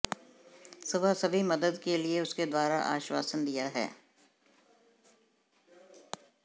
सुबह सभी मदद के लिए उसके द्वारा आश्वासन दिया है